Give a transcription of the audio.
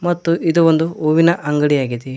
ಮತ್ತು ಇದು ಒಂದು ಹೂವಿನ ಅಂಗಡಿ ಆಗಿದೆ.